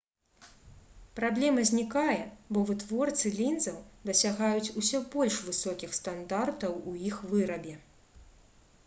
праблема знікае бо вытворцы лінзаў дасягаюць усё больш высокіх стандартаў у іх вырабе